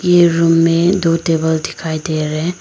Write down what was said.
ये रूम में दो टेबल दिखाई दे रहे।